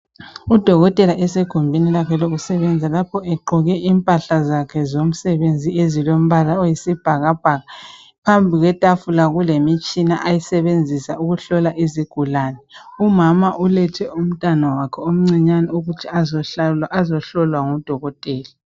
udokotela esegumbini lakhe lokusebenzela lapho egqoke impahla zakhe zomsebenzi ezilombala oyisibhakabhaka phambi kwetafula kulemitshina ayisebenzisa ukuhlola izigulane umuma ulethe umntwana wakhe omncinyane ukuthi azohlolwa ngudokotela